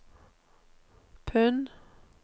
pund